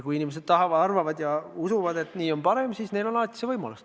Kui inimesed arvavad ja usuvad, et nii on parem, siis on neil alati see võimalus.